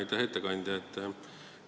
Aitäh ettekandja!